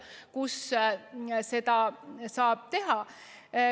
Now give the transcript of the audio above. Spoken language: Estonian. Toon ühe konkreetse näite.